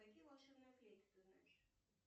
какие волшебные флейты ты знаешь